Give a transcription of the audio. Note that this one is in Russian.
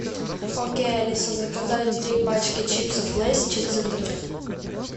окей алиса заказать три пачки чипсов лейс через интернет